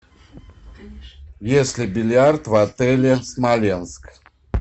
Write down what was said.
есть ли бильярд в отеле смоленск